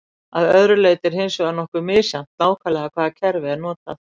að öðru leyti er hins vegar nokkuð misjafnt nákvæmlega hvaða kerfi er notað